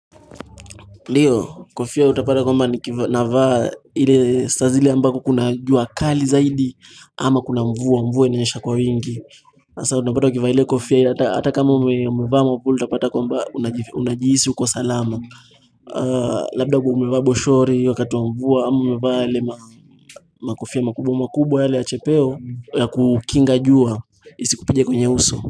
Ndio, kofia utapata kwamba nikivaa navaa ile saa zile ambako kuna jua kali zaidi ama kuna mvua mvua inanyesha kwa wingi. Hasa unapata ukivaa ile kofia ile hata kama umevaa ama utapata kwamba unajihisi uko salama. Labda umevaa boshori wakati wa mvua amevaa ile makofia makubwa makubwa yale ya chepeo ya kukinga jua isi kupige kwenye uso.